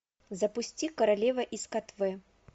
запусти королева из катве